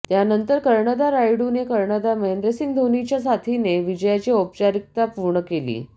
त्यानंतर कर्णधार रायुडूने कर्णधार महेंद्रसिंग धोनीच्या साथीने विजयाची औपचारिकता पूर्ण केली